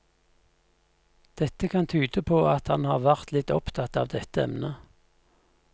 Dette kan tyde på at han har vært litt opptatt av dette emnet.